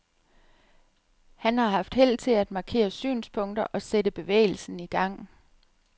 Han har har haft held til at markere synspunkter og sætte bevægelsen i gang.